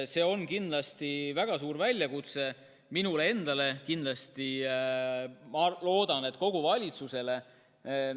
See on kindlasti väga suur väljakutse minule endale, aga ma loodan, et kogu valitsusele.